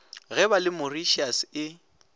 ge ba le mauritius e